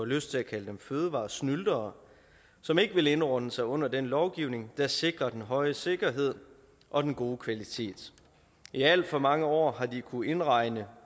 lyst til at kalde dem fødevaresnyltere som ikke vil indordne sig under den lovgivning der sikrer den høje sikkerhed og den gode kvalitet i alt for mange år har de kunnet indregne